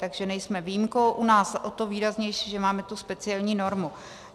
Takže nejsme výjimkou, u nás o to výraznější, že máme tu speciální normu.